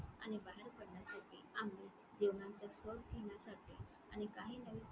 आणि बाहेर पाडण्यासाठी आम्ही जेवन्याचा Cup घेण्यासाठी आणि काही नवीन